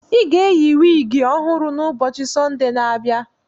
I ga-eyi wiigi ọhụrụ n'ubochi Sọnde na-abịa.